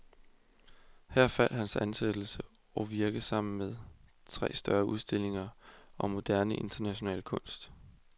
Her faldt hans ansættelse og virke sammen med tre større udstillinger om moderne international kunst.